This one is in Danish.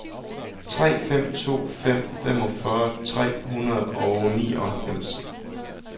tre fem to fem femogfyrre tre hundrede og nioghalvfems